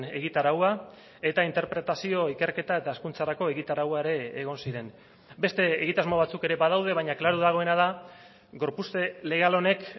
egitaraua eta interpretazio ikerketa eta hezkuntzarako egitaraua ere egon ziren beste egitasmo batzuk ere badaude baina klaru dagoena da gorpuzte legal honek